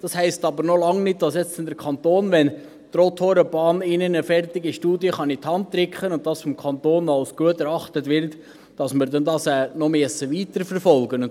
Das heisst aber noch lange nicht, dass der Kanton, wenn die Brienz-Rothorn-Bahn ihm eine fertige Studie in die Hand drücken kann und diese vom Kanton als gut erachtet wird, dies noch weiterverfolgen muss.